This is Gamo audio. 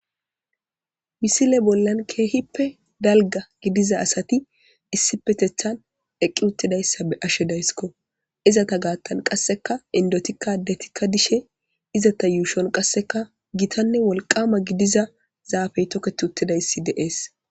misile bollan keehippe dalga gidiza asati issi petethan eqqi uttidayssa be'ashe dayskko izata gaattan qasseka indotikka ddetikka dishe izata yuushon qasseka gitanne wolqama gidiza zaafey tokket uttidayssi deees